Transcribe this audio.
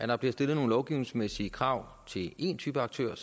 der bliver stillet nogle lovgivningsmæssige krav til én type aktører